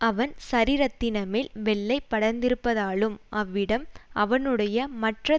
அவன் சரீரத்தினமேல் வெள்ளைப்படர்ந்திருந்ப்பதாலும் அவ்விடம் அவனுடைய மற்ற